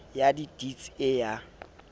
ya di deeds e ya